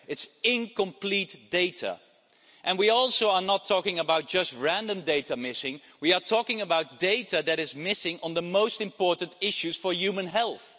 It's incomplete data and we are also not talking about just random data missing, we are talking about data that is missing on the most important issues for human health.